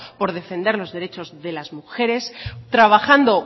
por defender los derechos de las mujeres trabajando